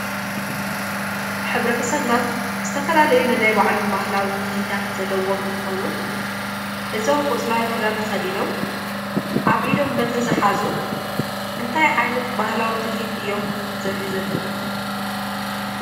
ሕብረተሰብና ዝተፈላለዩ ነናይ ባዕሎም ባህላዊ ትልሂታት ዘለዎም እንትኾኑ እዞም ቆፅለዋይ ክዳን ተኸዲኖም ኣብ ኢዶም በትሪ ዝሓዙ እንታይ ዓይነት ባህላዊ ትልሂት እዮም ዘርእዩ ዘለዉ፡፡